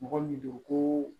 Mɔgɔ min don ko